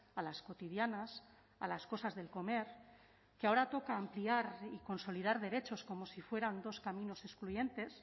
a las cotidianas a las cosas del comer que ahora toca ampliar y consolidar derechos como si fueran dos caminos excluyentes